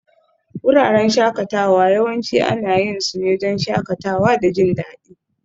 Wuraren shakatawa yawanci ana yin su ne don shakatawa da jin daɗi